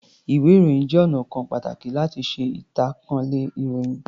Ìwé-ìròyìn jẹ́ ọnà kan pàtàkì láti ṣe ìtànkálẹ̀ ìròyìn.